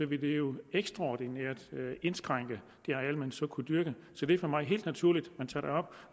ville det jo ekstraordinært indskrænke det areal man så kunne dyrke så det er for mig helt naturligt